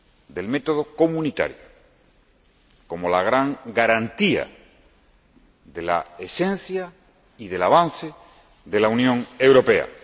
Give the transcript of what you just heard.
del método comunitario, como la gran garantía de la esencia y del avance de la Unión Europea.